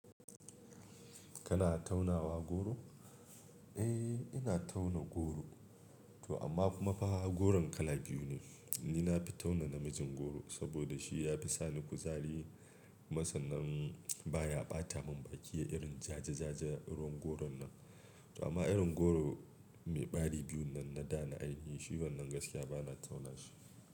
Kana taunawa goro? Eh, ina tauna goro. To amma kuma fa goron kala biyu ne. Ni na fi tauna namijin goro saboda shi ya fi sa ni kuzari. Kuma sannan baya ɓata mun baki yayi irin jaja-jaja ruwan goron nan. To amma irin goro mai ɓari biyun nan na da na ainihi shi wannan gaskiya bana tauna shi.